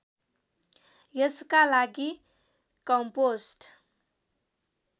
यसका लागि कम्पोस्ट